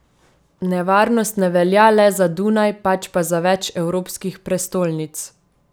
Nevarnost ne velja le za Dunaj, pač pa za več evropskih prestolnic.